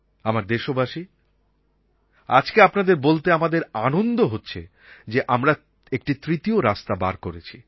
আমার দেশবাসী আজকে আপনাদের বলতে আমাদের আনন্দ হচ্ছে যে আমরা একটি তৃতীয় রাস্তা বার করেছি